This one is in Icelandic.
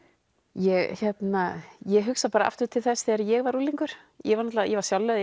ég ég hugsa bara aftur til þess þegar ég var unglingur ég var ég var sjálf lögð í